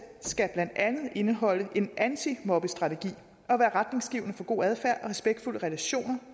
skal blandt andet indeholde en antimobbestrategi og være retningsgivende for god adfærd og respektfulde relationer